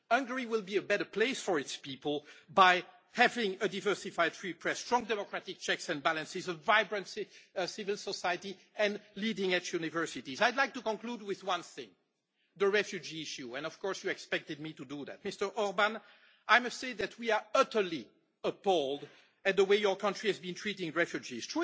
Hungary will be a better place for its people by having a diversified free press, strong democratic checks and balances, a vibrant civil society and leading edge universities. I would like to conclude with one thing, the refugee issue, and of course you expected me to do that. Mr Orbán, I must say that we are utterly appalled at the way your country has been treating refugees.